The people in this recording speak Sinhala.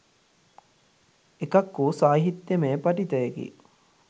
එකක් වූ සාහිත්‍යයමය පඨිතයකි